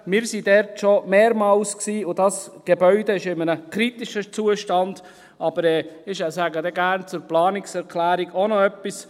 Wir waren schon mehrmals dort, und dieses Gebäude ist in einem kritischen Zustand, aber ich sage dann gerne zur Planungserklärung auch noch etwas.